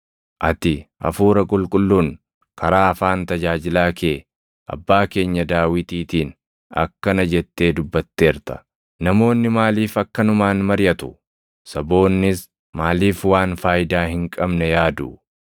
Ati Hafuura Qulqulluun karaa afaan tajaajilaa kee abbaa keenya Daawitiitiin akkana jettee dubbatteerta; “ ‘Namoonni maaliif akkanumaan mariʼatu? Saboonnis maaliif waan faayidaa hin qabne yaadu?